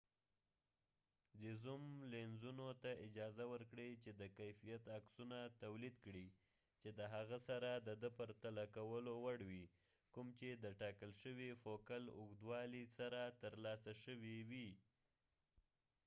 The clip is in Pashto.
دې زوم لینزونو ته اجازه ورکړې چې د کیفیت عکسونه تولید کړي چې د هغه سره د د پرتله کولو وړ وي کوم چې د ټاکل شوي فوکل اوږدوالي سره ترلاسه شوي وي